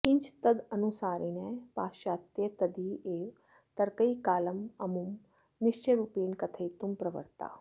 किञ्च तदनुसारिणः पाश्चात्यास्तदीयैरेव तर्कैः कालममुं निश्चयरूपेण कथयितुं प्रवृत्ताः